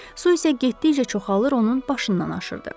Su isə getdikcə çoxalır, onun başından aşırdı.